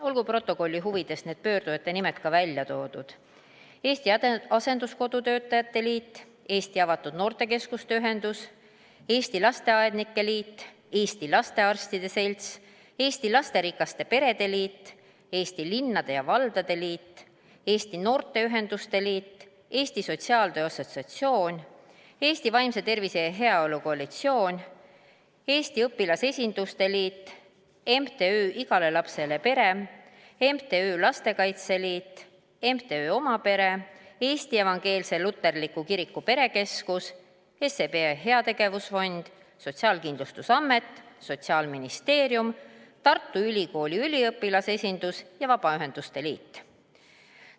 Olgu protokolli huvides need pöördujate nimed ka välja toodud: Eesti Asenduskodu Töötajate Liit, Eesti Avatud Noortekeskuste Ühendus, Eesti Lasteaednike Liit, Eesti Lastearstide Selts, Eesti Lasterikaste Perede Liit, Eesti Linnade ja Valdade Liit, Eesti Noorteühenduste Liit, Eesti Sotsiaaltöö Assotsiatsioon, Eesti Vaimse Tervise ja Heaolu Koalitsioon, Eesti Õpilasesinduste Liit, MTÜ Igale Lapsele Pere, MTÜ Lastekaitse Liit, MTÜ Oma Pere, Eesti Evangeelse Luterliku Kiriku Perekeskus, SEB Heategevusfond, Sotsiaalkindlustusamet, Sotsiaalministeerium, Tartu Ülikooli üliõpilasesindus ja Vabaühenduste Liit.